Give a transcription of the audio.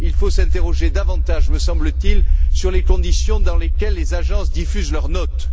Il faut s'interroger davantage, me semble t il, sur les conditions dans lesquelles les agences diffusent leurs notes.